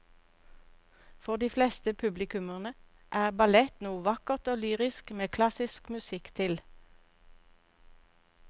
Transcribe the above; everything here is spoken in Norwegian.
For de fleste publikummere er ballett noe vakkert og lyrisk med klassisk musikk til.